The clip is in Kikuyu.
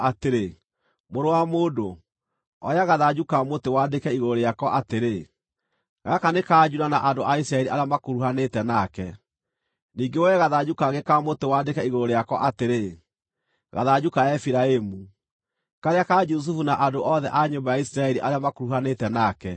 “Mũrũ wa mũndũ, oya gathanju ka mũtĩ wandĩke igũrũ rĩako atĩrĩ, ‘Gaka nĩ ka Juda na andũ a Isiraeli arĩa makuruhanĩte nake.’ Ningĩ woe gathanju kangĩ ka mũtĩ wandĩke igũrũ rĩako atĩrĩ, ‘Gathanju ka Efiraimu, karĩa ka Jusufu na andũ othe a nyũmba ya Isiraeli arĩa makuruhanĩte nake.’